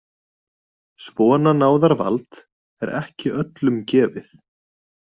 Svona náðarvald er ekki öllum gefið.